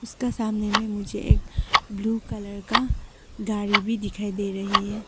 इसके सामने में मुझे एक ब्लू कलर का गाड़ी भी दिखाई दे रहे हैं।